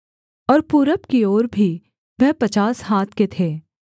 और पूरब की ओर भी वह पचास हाथ के थे